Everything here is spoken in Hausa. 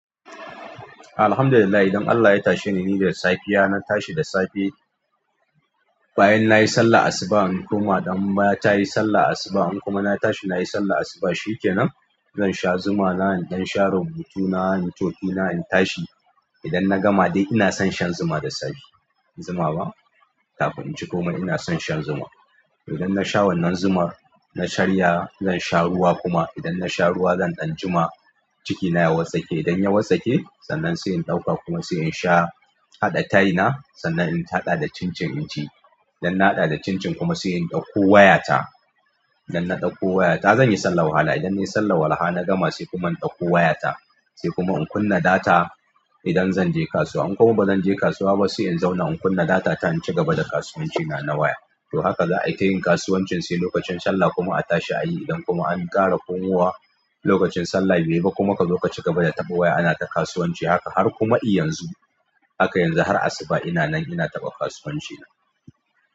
Alhamdulillah idan Allah ya tashe ni, ni da safiya na tashi da safe. Bayan nayi sallar asuba in koma, dan ba ta yi sallar asuba in kuma na tashi nayi sallar asuba shi kenan. Zan sha zuma na, in ɗan sha rubutuna, inyi tofina in tashi. Idan na gama dai ina son shan zuma da safe. Zuma ba? Kafin in ci komai ina son shan zuma. Idan na sha wannan zumar, na karya zan sha ruwa kuma idan na sha ruwa zan ɗan jima, cikina ya watssake. Idan ya watssake sannan kuma sai in ɗauka kuma sai in sha, haɗa tea na sannan in haɗa da cincin in ci. Idan na haɗa da cincin kuma sai in ɗauko wayata. Idan na ɗauko wayata zan yi sallar walaha. Idan na yi sallar walaha na gama sai kuma in ɗauko wayata, sai kuma in kunna data. Idan zan je kasuwa in kuma ba zan je kasuwa ba sai in zauna in kunna data ta in ci gaba da kasuwancina na waya. To haka za a yi tayin kasuwancin sai lokacin sallah kuma a tashi a yi. Idan kuma an ƙara komowa lokacin sallah bai yi ba kuma ka zo ka ci gaba da taɓa waya ana ta kasuwanci haka har kuma i yanzu. Haka yanzu har asuba ina nan ina taɓa kasuwancina.